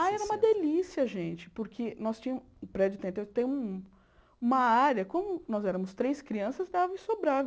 Ah, era uma delícia, gente, porque nós tínhamos... O prédio tem até um uma área... Como nós éramos três crianças, dava e sobrava.